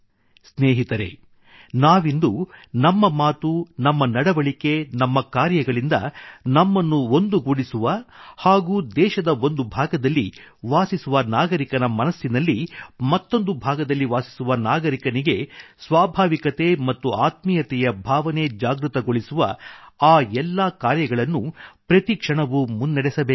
ಸ್ನೇಹಿತರೇ ನಾವಿಂದು ನಮ್ಮ ಮಾತು ನಮ್ಮ ನಡವಳಿಕೆ ನಮ್ಮ ಕಾರ್ಯಗಳಿಂದ ನಮ್ಮನ್ನು ಒಂದುಗೂಡಿಸುವ ಹಾಗೂ ದೇಶದ ಒಂದು ಭಾಗದಲ್ಲಿ ವಾಸಿಸುವ ನಾಗರಿಕನ ಮನಸ್ಸಿನಲ್ಲಿ ಮತ್ತೊಂದು ಭಾಗದಲ್ಲಿ ವಾಸಿಸುವ ನಾಗರಿಕನಿಗಾಗಿ ಸ್ವಾಭಾವಿಕತೆ ಮತ್ತುಆತ್ಮೀಯತೆಯ ಭಾವನೆ ಜಾಗೃತಗೊಳಿಸುವ ಆ ಎಲ್ಲಾ ಕಾರ್ಯಗಳನ್ನೂ ಪ್ರತಿ ಕ್ಷಣವೂ ಮುನ್ನಡೆಸಬೇಕಾಗಿದೆ